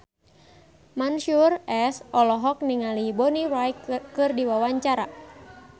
Mansyur S olohok ningali Bonnie Wright keur diwawancara